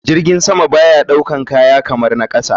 Jirgin sama baya ɗaukan kaya kaman na kasa.